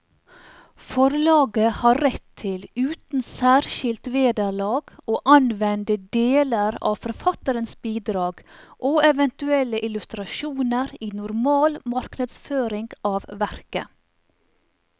Forlaget har rett til uten særskilt vederlag å anvende deler av forfatterens bidrag og eventuelle illustrasjoner i normal markedsføring av verket.